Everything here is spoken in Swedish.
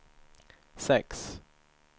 sex